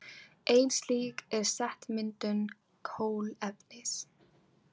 Ein slík er setmyndun kolefnis.